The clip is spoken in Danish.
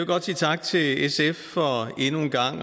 godt sige tak til sf for endnu en gang